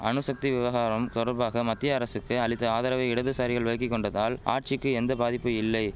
அணுசக்தி விவகாரம் தொடர்பாக மத்திய அரசுக்கு அளித்த ஆதரவை இடதுசாரிகள் விலக்கி கொண்டதால் ஆட்சிக்கு எந்த பாதிப்பு இல்லை